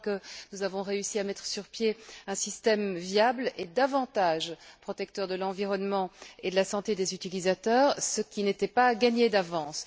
Je crois que nous avons réussi à mettre sur pied un système viable et davantage protecteur de l'environnement et de la santé des utilisateurs, ce qui n'était pas gagné d'avance.